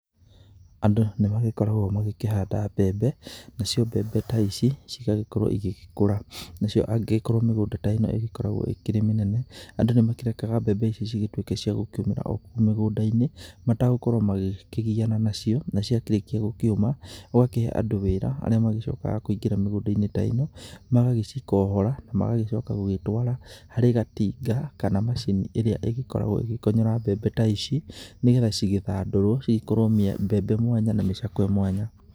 Andũ nĩ magĩkoragwo magĩkĩhanda mbembe nacio mbembe ta ici cigagĩkorwo igĩgĩkũra nacio angĩgĩkorwo mĩgũnda ta ĩno ĩgĩkoragwo ĩkĩrĩ mĩnene. Andũ nĩ makĩrekaga mbembe icio cigĩtuĩke cia gũkĩũmĩra okũu mĩgũnda-inĩ matagũkorwo makĩgiana nacio. Na ciarĩkia gũkĩũma magakĩhe andũ wĩra arĩa makoragwo makĩingĩra mĩgũnda-in ta ĩno. Magagĩcikohora na magacoka gũcitwara harĩ gatinga kana macini ĩrĩa ĩgĩkoragwo ĩgĩkonyora mbembe ta ici, nĩ getha cigĩthandũrwo cigĩkorwo mbembe mwanya na micakwe mwanya.